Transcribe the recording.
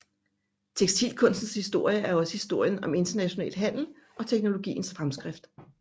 Tekstilkunstens historie er også historien om international handel og teknologiens fremskridt